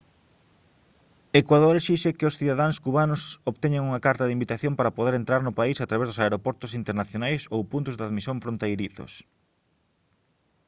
ecuador esixe que os cidadáns cubanos obteñan unha carta de invitación para poder entrar no país a través dos aeroportos internacionais ou puntos de admisión fronteirizos